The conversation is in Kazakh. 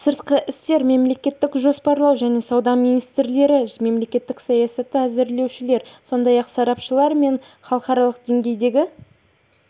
сыртқы істер мемлекеттік жоспарлау және сауда министрлері мемлекеттік саясатты әзірлеушілер сондай-ақ сарапшылар мен халықаралық деңгейдегі